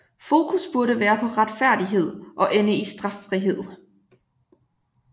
Fokus burde være på retfærdighed og ende i straffrihed